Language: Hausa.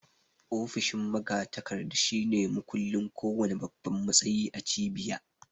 Ofishin magatakarda shine mukullin ko wanna babban matsayi a cibiya